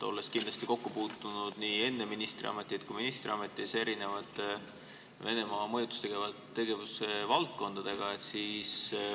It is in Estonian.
Olete kindlasti nii enne ministriametit kui ministriametis puutunud kokku Venemaa mõjutustegevuse valdkondadega.